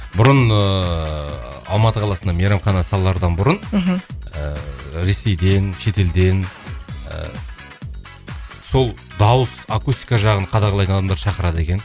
бұрын ыыы алматы қаласына мейрамхана салардан бұрын мхм ыыы ресейден шет елден ыыы сол дауыс акустика жағын қадағалайтын адамдарды шақырады екен